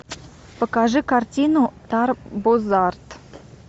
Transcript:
покажи картину тарбозавр